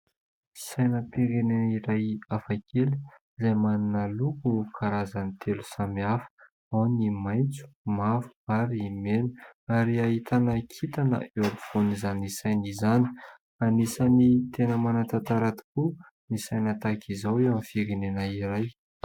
Sainam-pirenena iray hafakely izay manana loko karazany telo samy hafa. Ao ny maitso, mavo, ary mena; ary ahitana kintana eo ampovoan'izany saina izany. Anisan'ny tena manan-tantara tokoa ny saina tahaka izao eo amin'ny firenena iray.